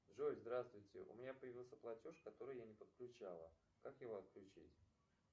джой здравствуйте у меня появился платеж который я не подключала как его отключить